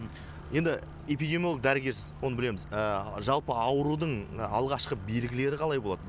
енді эпидемиолог дәрігерсіз оны білеміз жалпы аурудың алғашқы белгілері қалай болады